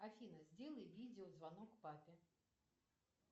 афина сделай видео звонок папе